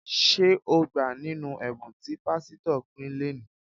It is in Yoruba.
Ṣé o gbà nínú ẹ̀bùn tí pásítọ̀ pín léẹ̀ní?